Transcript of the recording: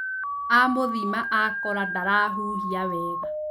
Amũthima akora ndarahuhia wega